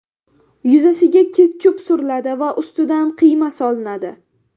Yuzasiga ketchup suriladi va ustidan qiyma solinadi.